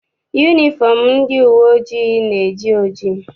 Yunifọm ndị uwe ojii na-eji oji.